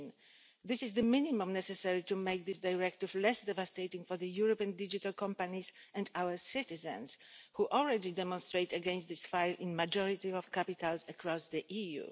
13. This is the minimum necessary to make this Directive less devastating for the European digital companies and our citizens who already demonstrate against this in the majority of capitals across the EU.